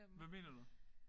Hvad mener du?